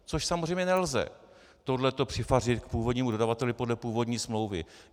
Což samozřejmě nelze - tohle to přifařit k původnímu dodavateli podle původní smlouvy.